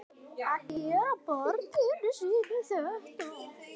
Að gera barninu sínu þetta!